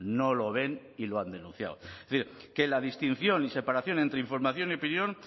no lo ven y lo han denunciado es decir que la distinción y separación entre información y opinión